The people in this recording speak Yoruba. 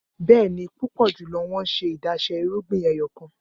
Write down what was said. Bẹẹni, pupọ julọ wọn ṣe adaṣe irugbin ẹyọkan.